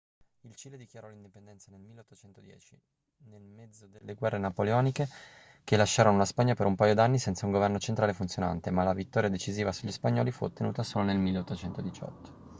il cile dichiarò l'indipendenza nel 1810 nel mezzo delle guerre napoleoniche che lasciarono la spagna per un paio d'anni senza un governo centrale funzionante ma la vittoria decisiva sugli spagnoli fu ottenuta solo nel 1818